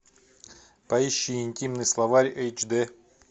поищи интимный словарь эйч д